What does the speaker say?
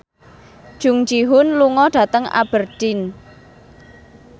Jung Ji Hoon lunga dhateng Aberdeen